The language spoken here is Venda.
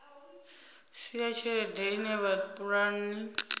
si ya tshelede ine vhapulani